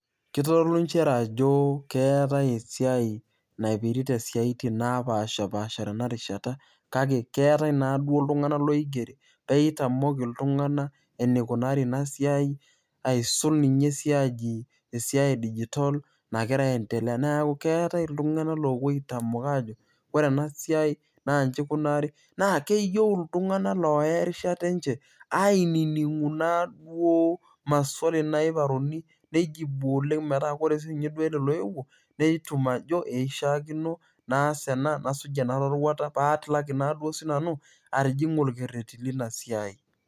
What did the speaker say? keitodolu nchere ajo keetai esiai napirita isiatin naa paasha paasha tena rishata kake keetae naa duo itung'anak loigeri pee itamok iltung'anak eneikunari ina siai aisul ninye esiai ee digital nagira aendelea neaku keetae iltung'anak loopuo aitamok aajo ore ena siai naa inji eikunari naa keyieu iltung'anak oya erishata enje ainining'u naa duo maswali naiparuni neijibuni metaa ore duo sii ninye ele loewuo netum ajo eishiaakino naas ena nasuj ena roruata paa atilaki naa duo sii nanu atijing'a orkreti leina siai.